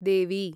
देवी